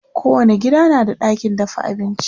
kowani gida na da ɗakin dafa abinci